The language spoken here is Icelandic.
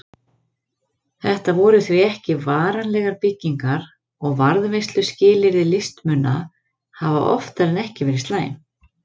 Þetta voru því ekki varanlegar byggingar og varðveisluskilyrði listmuna hafa oftar en ekki verið slæm.